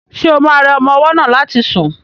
Ṣo ma rẹ ọmọ ọwọ́ náà láti sùn?